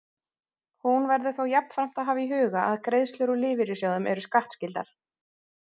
Hér verður þó jafnframt að hafa í huga að greiðslur úr lífeyrissjóðum eru skattskyldar.